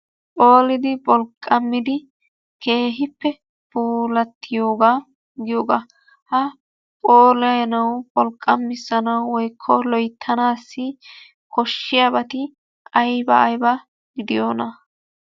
Phoolidi pholqqammidi keehippe puulattiyooga giyooga ha phoolanawu pholqqamissanawu woykko loyttanaassi koshshiyabati ayba ayba gidiyonaa?